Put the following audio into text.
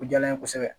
O diyara n ye kosɛbɛ